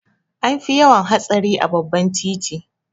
An fi yawan hatsari a babbar titi.